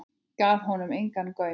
Gaf honum engan gaum.